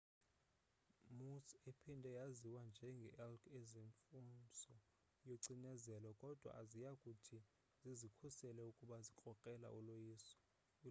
moose ephinde yaziwe njenge elk azimfuzo yocinezelo kodwa ziyakuthi zizikhusele ukuba zikrokrela uloyikiso